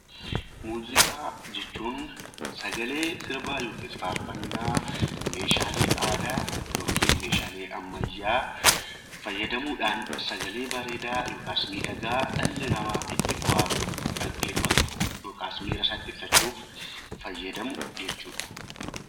Muuziqaa jechuun sagalee sirbaa yookiis faarfannaa, meeshaalee aadaa yookiin meeshaalee ammayyaa fayyadamuu dhaan sagalee bareeedaa yookaas miidhagaa dhalli namaa itti bohaaru, dhaggeeffatu yookaas miira isaa ibsachuuf fayyadamu jechuu dha.